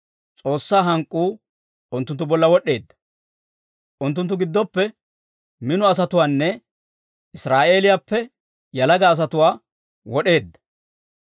S'oossaa hank'k'uu unttunttu bolla wod'd'eedda; unttunttu giddoppe mino asatuwaanne Israa'eeliyaappe yalaga asatuwaa wod'eedda.